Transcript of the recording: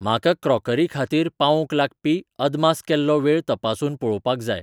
म्हाका क्रोकरी खातीर पावोवंक लागपी अदमास केल्लो वेळ तपासून पळोवपाक जाय.